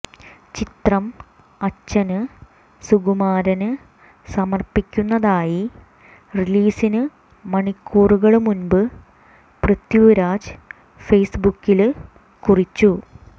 ചിത്രം അച്ഛന് സുകുമാരന് സമര്പ്പിക്കുന്നതായി റിലീസിന് മണിക്കൂറുകള് മുന്പ് പൃഥിരാജ് ഫേസ്ബുക്കില് കുറിച്ചു